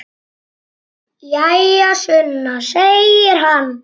Jæja, Sunna, segir hann.